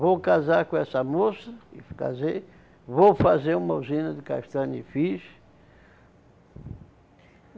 Vou casar com essa moça, e casei, vou fazer uma usina de castanha e fiz.